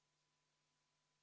Aga mis siis juhtub järgmisel aastal?